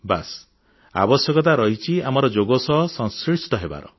ବାସ୍ ଆବଶ୍ୟକତା ରହିଛି ଆମର ଯୋଗ ସହ ସଂଶ୍ଳିଷ୍ଟ ହେବାର